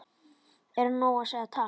Er nóg að segja takk?